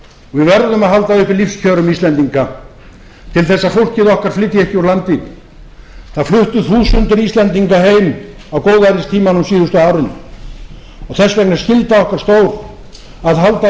við verðum að halda uppi lífskjörum íslendinga til þess að fólkið okkar flytji ekki úr landi það fluttu þúsundir íslendinga heim á góðæristímanum síðustu árin þess vegna er skylda okkar stór að halda